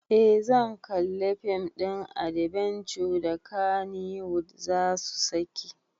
Eh zan kalli fim ɗin adbenture da kannywood zasu saki